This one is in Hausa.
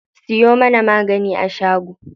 Siyo mana magani a shago.